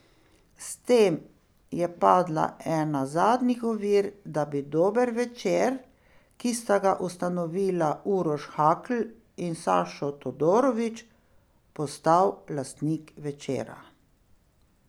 S tem je padla ena zadnjih ovir, da bi Dober Večer, ki sta ga ustanovila Uroš Hakl in Sašo Todorović, postal lastnik Večera.